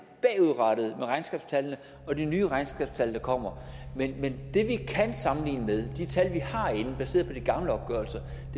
bagudrettet med regnskabstallene og de nye regnskabstal der kommer men det vi kan sammenligne med de tal vi har inde baseret på de gamle opgørelser